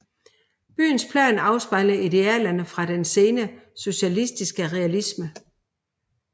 Byens plan afspejler idealerne fra den sene socialistisk realisme